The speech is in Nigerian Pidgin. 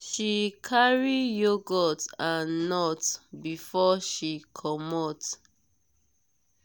she carry yogurt and nuts before she commot.